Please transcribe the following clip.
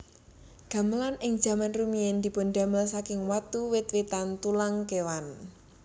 Gamelan ing jaman rumiyin dipundamel saking watu wit witan tulang kewan